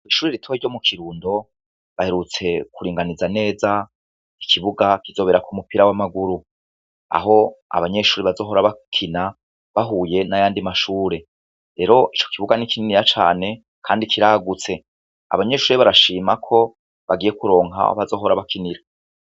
Kishuri ritowe ryo mu kirundo baherutse kuringaniza neza ikibuga kizobera ku mupira w'amaguru aho abanyeshuri bazohora bakina bahuye n'ayandi mashure rero ico kibuga n'ikinini ya cane, kandi kiragutse abanyeshuri barashimako bagiye kuronka bazohora bakinira.